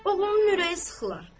Oğlunun ürəyi sıxılar.